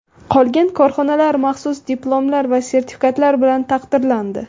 Qolgan korxonalar maxsus diplomlar va sertifikatlar bilan taqdirlandi.